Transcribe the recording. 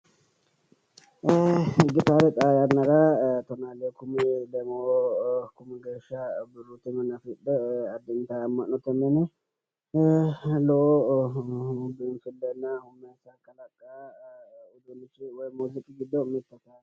Gitaare xaa yannara tona lee kume lemmo Kumi geesha birru tamane afidhe addintani ama'note min gido afantano muuziqu uduunnichi gido mitete